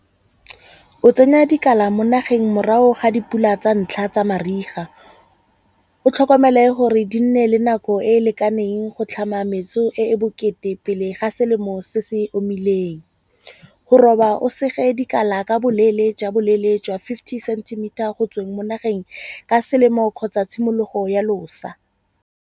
O tsenya dikala mo nageng morago ga dipula tsa ntlha tsa mariga. O tlhokomele gore di nne le nako e e lekaneng go tlhama metso e bokete pele ha selemo se se omileng. Go roba o sege dikala ka boleele jwa boleele jwa fifty centimeter go tsweng mo nageng ka selemo kgotsa tshimologo ya losa.